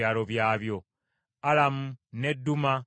Alabu, n’e Duma, n’e Esani,